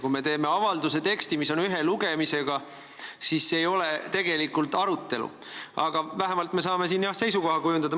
Kui avalduse teksti menetlemine toimub ühel lugemisel, siis see ei ole tegelikult arutelu, aga vähemalt me saame, jah, seisukoha kujundada.